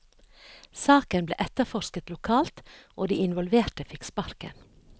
Saken ble etterforsket lokalt, og de involverte fikk sparken.